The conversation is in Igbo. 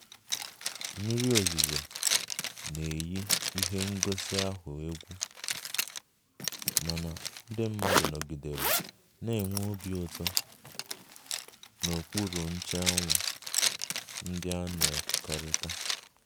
Mmiri ozuzo na-eyi ihe ngosi ahụ egwu, mana ndị mmadụ nọgidere na-enwe obi ụtọ n'okpuru nche anwụ ndị a na-ekekọrịta